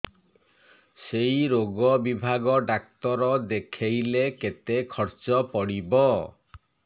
ସେଇ ରୋଗ ବିଭାଗ ଡ଼ାକ୍ତର ଦେଖେଇଲେ କେତେ ଖର୍ଚ୍ଚ ପଡିବ